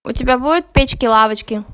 у тебя будет печки лавочки